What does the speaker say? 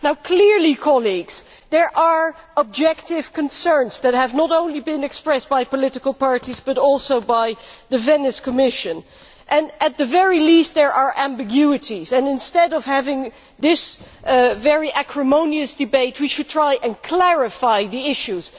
Clearly, colleagues, there are objective concerns that have been expressed not only by political parties but also by the Venice Commission, and, at the very least, there are ambiguities. Instead of having this very acrimonious debate, we should try and clarify the issues.